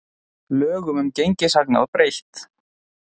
Lögum um gengishagnað breytt